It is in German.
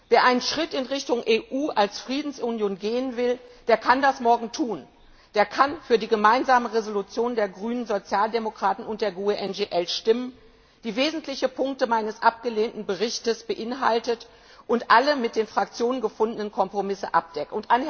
Wer einen Schritt in Richtung EU als Friedensunion gehen will, der kann das morgen tun, der kann für die Gemeinsame Entschließung der Grünen, Sozialdemokraten und der GUE NGL stimmen, die wesentliche Punkte meines abgelehnten Berichts beinhaltet und alle mit den Fraktionen gefundenen Kompromisse abdeckt.